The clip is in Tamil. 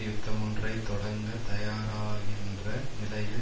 யுத்தமொன்றை தொடங்கத் தயாராகின்ற நிலையில்